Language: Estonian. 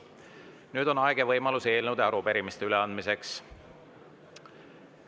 Nüüd on aeg ja võimalus eelnõude ja arupärimiste üleandmiseks.